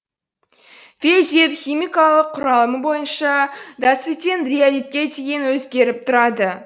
фельзит химикалық құрамы бойынша дациттен риолитке дейін өзгеріп тұрады